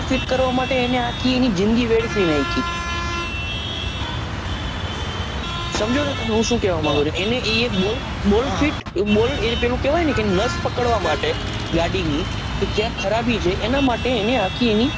feet કરવા માટે એને આખી એની જીંદગી વેડફી નાખી સમજો છો હું સુ કહવા માંગું છુ એની એ એક bolt ફિટ bolt એ પેલું કહવાય ને નશ પકડવા માટે ગાડીની ક્યાં ખરાબી છે એના માટે એની આખી એની